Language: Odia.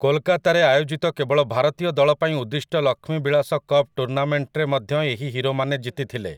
କୋଲକାତାରେ ଆୟୋଜିତ କେବଳ ଭାରତୀୟ ଦଳ ପାଇଁ ଉଦ୍ଦିଷ୍ଟ ଲକ୍ଷ୍ମୀବିଳାସ କପ୍ ଟୁର୍ଣ୍ଣାମେଣ୍ଟରେ ମଧ୍ୟ ଏହି ହିରୋମାନେ ଜିତିଥିଲେ ।